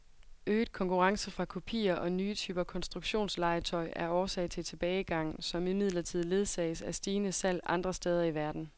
Øget konkurrence fra kopier og nye typer konstruktionslegetøj er årsag til tilbagegangen, som imidlertid ledsages af stigende salg andre steder i verden.